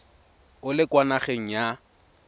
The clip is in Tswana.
o le kwa nageng ya